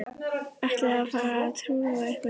Ætlið þið að fara að trúlofa ykkur?